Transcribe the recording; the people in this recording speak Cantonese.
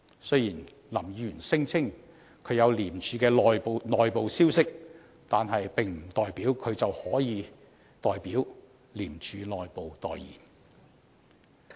雖然林議員聲稱他取得廉署的內部消息，但並不代表他可以代廉署內部發言。